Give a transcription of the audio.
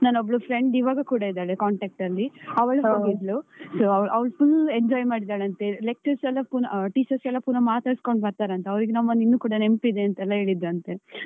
ನನ್ನ ಒಬ್ಳು friend ಈವಾಗ ಕೂಡ ಇದ್ದಾಳೆ contact ಅಲ್ಲಿ. ಅವಳು ಹೋಗಿದ್ಲು ಅವಳು full enjoy ಮಾಡಿದ್ದಾಳಂತೆ lectures ಎಲ್ಲ ಪುನ, ಆ teachers ಪುನ ಮಾತಾಡಿಸ್ಕೊಂಡು ಬರ್ತಾರಂತೆ ಅವರಿಗೆ ನಮ್ಮನ್ನಿನ್ನು ಕೂಡ ನೆನ್ಪಿದೆ ಅಂತ ಹೇಳಿದ್ ಅಂತೇ